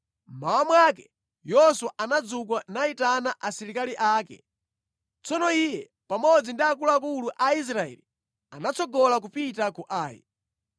Mmawa mwake, Yoswa anadzuka nayitana asilikali ake. Tsono iye pamodzi ndi akuluakulu a Aisraeli anatsogola kupita ku Ai.